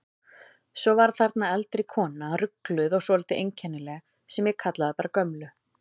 Svo var þarna eldri kona, rugluð og svolítið einkennileg, sem ég kallaði bara gömlu.